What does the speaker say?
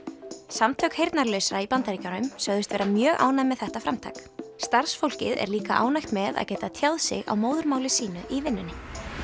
samtök heyrnalausra í Bandaríkjunum sögðust vera mjög ánægð með þetta framtak starfsfólkið er líka ánægt með að geta tjáð sig á móðurmáli sínu í vinnunni